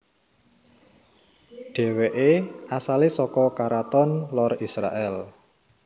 Dhèwèké asalé saka karaton lor Israèl